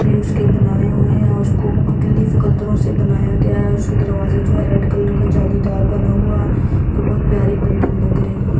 भी उसके बनाए हुए हैं उसको मुख्तलिफ कलरों से बनाया गया है उसका दरवाजा जो है रेड कलर का जालीदार बना हुआ है और बहुत प्यारी बिल्डिंग लग रही--